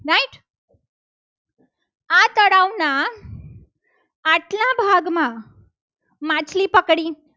ના આટલા ભાગમાં માછલી પકડી.